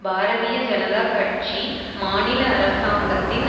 பாரதிய ஜனதா கட்சி மாநில அரசாங்கத்தின்